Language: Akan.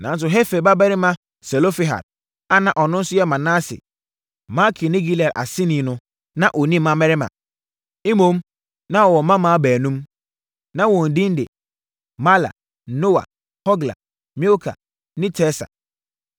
Nanso, Hefer babarima Selofehad a na ɔno nso yɛ Manase, Makir ne Gilead aseni no na ɔnni mmammarima. Mmom, na ɔwɔ mmammaa baanum. Na wɔn edin de Mahla, Noa, Hogla, Milka ne Tirsa.